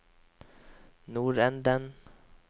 nordenden